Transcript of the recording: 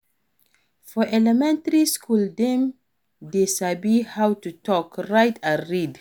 For elementary school dem de sabi how to talk, write and read